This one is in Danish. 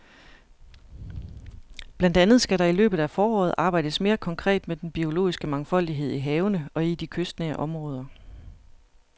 Blandt andet skal der i løbet af foråret arbejdes mere konkret med den biologiske mangfoldighed i havene og i de kystnære områder.